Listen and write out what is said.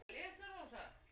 Elska þig, amma sól.